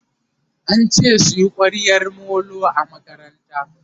ance suyi kwaryan Molo a makaranta